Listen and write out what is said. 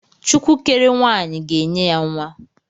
Chukwu kere nwaanyị ga-enye ya nwa.